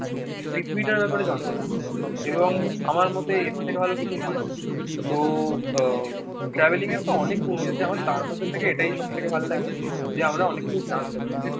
পৃথিবীটার ব্যাপারে জানতে বাকি এবং আমার মতে এর থেকে ভালো কিছু হয়না। তো আহ ট্রাভেলিংয়ের তো অনেক গুন্ই আছে আমার তার মধ্যে থেকে এটাই সব থেকে ভাল লাগে যে, আমরা অনেক কিছু জানতে পারি।